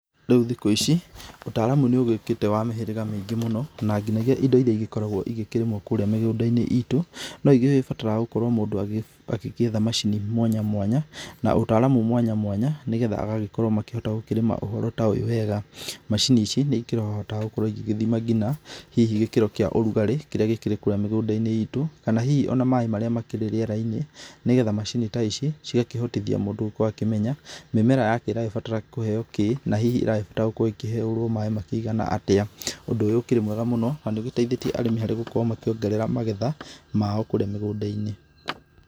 Rĩu thikũ ici ũtaaramu nĩũgĩũkĩte wa mĩhĩrĩga mĩingĩ mũno, na ngĩnyagia indo iria igĩkoragwo igĩkĩrĩmwo kũrĩa mĩgũnda-inĩ itũ, no nĩgũbataraga mũndũ agĩgĩetha macini mwanya mwanya, na ũtaramu mwanya mwanya, nĩgetha agagĩkorwo makĩhota gũkĩrĩma ũhoro ta ũyũ wega. Macini ici nĩĩkorohota gũkorwo igĩthima ngina, hihi gĩkĩro kĩa ũrugarĩ kĩrĩa gĩkĩrĩ kũrĩa mĩgũnda-inĩ itũ, kana hihi ona maaĩ marĩa makĩrĩ rĩera-inĩ, nĩgetha macini ta ici cigakĩhotithia mũndũ gũkoo akĩmenya, mĩmera yake ĩragĩbatara kũheo kĩĩ na hihi ĩragĩbatara gũkĩherwo maaĩ makĩigana atĩa, ũndũ ũyu ũkĩrĩ mwega mũno na nĩũgĩteithetie arĩmi harĩ gũkorwo makĩongerera magetha mao kũrĩa mĩgũnda-inĩ.